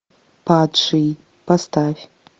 падший поставь